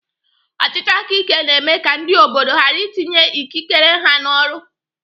Ọchịchị aka ike na-eme ka ndị obodo ghara itinye ikikere ha n'ọrụ.